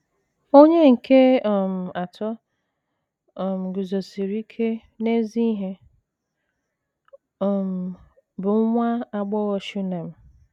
Onye nke um atọ um guzosiri ike n’ezi ihe um bụ nwa agbọghọ Shunem.